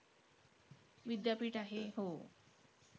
विद्यापीठ आहे. हो.